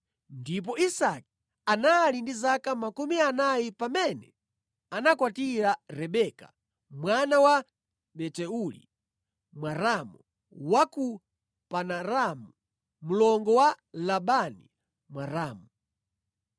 ndipo Isake anali ndi zaka makumi anayi pamene anakwatira Rebeka mwana wa Betueli Mwaramu wa ku Padanaramu mlongo wa Labani Mwaramu.